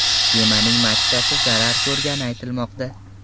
Kemaning machtasi zarar ko‘rgani aytilmoqda.